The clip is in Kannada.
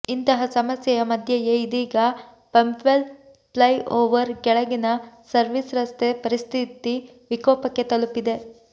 ಇಂತಹ ಸಮಸ್ಯೆಯ ಮಧ್ಯೆಯೇ ಇದೀಗ ಪಂಪ್ವೆಲ್ ಫ್ಲೈಓವರ್ ಕೆಳಗಿನ ಸರ್ವಿಸ್ ರಸ್ತೆ ಪರಿಸ್ಥಿತಿ ವಿಕೋಪಕ್ಕೆ ತಲುಪಿದೆ